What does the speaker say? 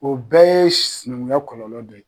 O bɛɛ ye sinɛnkunya kɔlɔlɔ dɔ ye